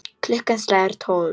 Klukkan slær tólf.